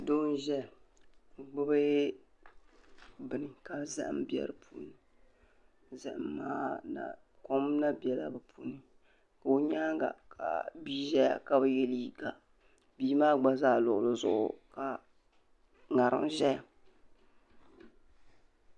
Doo n ʒɛya n gbubi bini ka zahim be di puuni zahim maa kom na bela di puuni ka o nyaaŋa ka bia ʒɛya ka bi yɛ liiga bia maa gba zaa luɣuli zuɣu ka ŋariŋ ʒɛya.